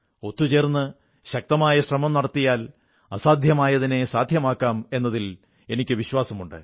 ഒത്തുചേർന്ന് ശക്തമായ ശ്രമം നടത്തിയാൽ അസാധ്യമായതിനെ സാധ്യമാക്കാം എന്നതിൽ എനിക്ക് വിശ്വാസമുണ്ട്